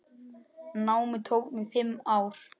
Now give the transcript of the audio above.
Námið tók mig fimm ár.